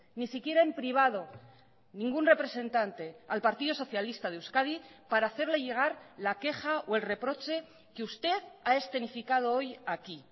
ni siquiera en privado ningún representante al partido socialista de euskadi para hacerle llegar la queja o el reproche que usted ha escenificado hoy aquí